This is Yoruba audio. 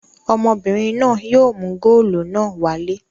Ọmọbìnrin náà yóò mú góólù náà wálé.